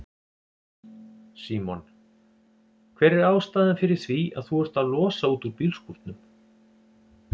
Símon: Hver er ástæðan fyrir því að þú ert að losa út úr bílskúrnum?